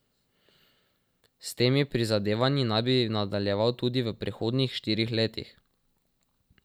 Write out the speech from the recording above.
S temi prizadevanji naj bi nadaljeval tudi v prihodnjih štirih letih.